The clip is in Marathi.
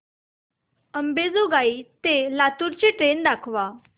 अंबेजोगाई ते लातूर ची ट्रेन दाखवा